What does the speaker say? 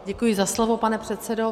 Děkuji za slovo, pane předsedo.